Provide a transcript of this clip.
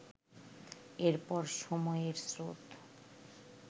এর পর সময়ের স্রোত